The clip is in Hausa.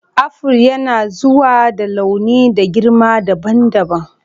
Aful yanazuwa da launi da girma dabam dabam.